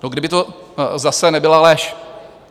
Kdyby to zase nebyla lež.